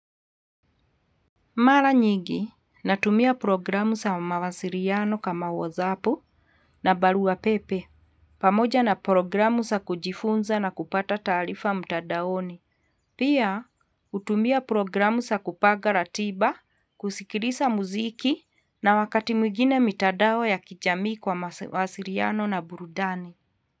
Mara nyingi, natumia programu za mawasiliano kama whatsappu na barua pepe, pamoja na programu za kujifunza na kupata taarifa mtandaoni. Pia, hutumia programu za kupaga ratiba, kusikiliza muziki na wakati mwingine mitandao ya kijamii kwa mawasiliano na burudani.